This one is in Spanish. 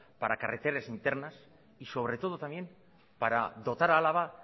para carreteras internas y sobre todo también para dotar a álava